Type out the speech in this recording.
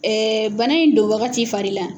bana in don wagati fari la